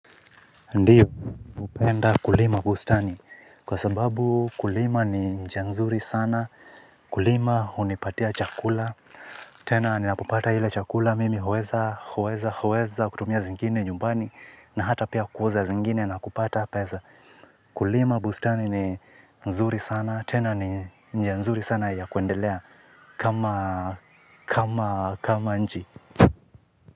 Ndiyo hupenda Kulima Bustani kwa sababu kulima ni njia nzuri sana kulima hunipatia chakula. Tena ninapopata ile chakula mimi huweza huweza kutumia zengine nyumbani na hata pia kuuza zingine na kupata peza. Kulima bustani ni mzuri sana tena ni njia nzuri sana ya kuendelea kama kama kama nji.